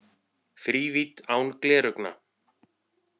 Þrívídd án gleraugna